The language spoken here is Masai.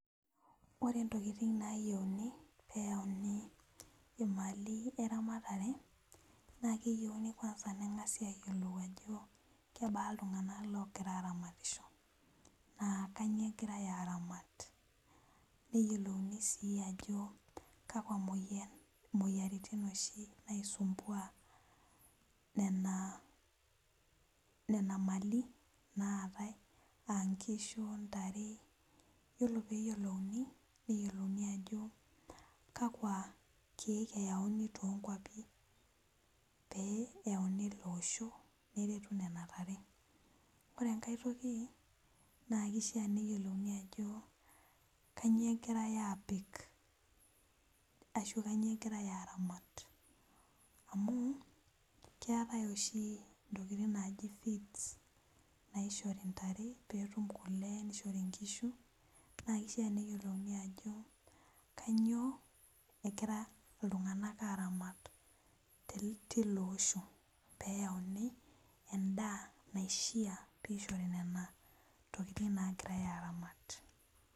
Ore ntokitin nayieuni peyauni imali erematare na keyieuni neyiolouni ajo kebaa ltunganak ogira aramatisho na kanyio egirai aramat neyiolouni si ajo kanyio nena mali naatae aa nkishu ntare ore peyiolouni neyiolouni ajo kakwa kiek eyanu tonkwapi neyauni loishu neretu nona tare ore enkae toki na kishaa peyiolouni ajo kannyio agirai apik na kanyio egirai aramat amu keetai oshi ntokitin naji feeds naishori ntare petum kule na kifaa pekintumia ajo kanyio egira ltunganak aramat tiloosho peyauni endaa naishaa peishori nona tokitin nagirai aramat.